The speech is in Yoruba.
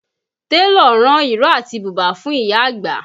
Télọ̀ rán ìró àti bùbá fún ìyá àgbà